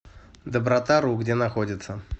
добротару где находится